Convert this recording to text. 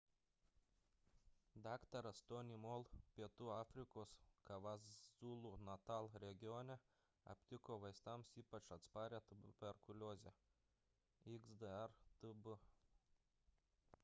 dr. tony moll pietų afrikos kwazulu-natal regione aptiko vaistams ypač atsparią tuberkuliozę xdr-tb